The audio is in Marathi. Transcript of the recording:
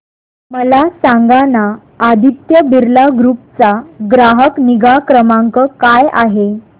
मला सांगाना आदित्य बिर्ला ग्रुप चा ग्राहक निगा क्रमांक काय आहे